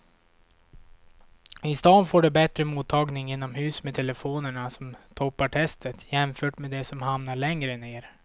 I stan får du bättre mottagning inomhus med telefonerna som toppar testet jämfört med de som hamnat längre ner.